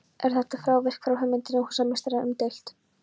Er þetta frávik frá hugmynd húsameistara umdeilt.